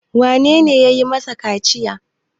wanene ya yi masa kaciya?